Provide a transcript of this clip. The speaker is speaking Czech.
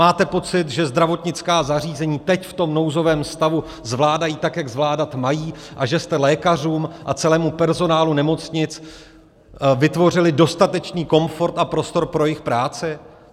Máte pocit, že zdravotnická zařízení teď v tom nouzovém stavu zvládají tak, jak zvládat mají, a že jste lékařům a celému personálu nemocnic vytvořili dostatečný komfort a prostor pro jejich práci?